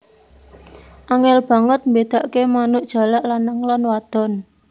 Angèl banget mbédakake manuk jalak lanang lan wadon